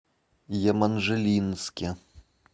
еманжелинске